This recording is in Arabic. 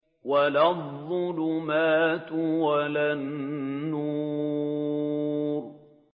وَلَا الظُّلُمَاتُ وَلَا النُّورُ